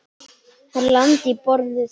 Hann lamdi í borðið.